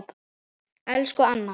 Elsku Anna.